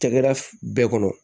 Cakɛda bɛɛ kɔnɔ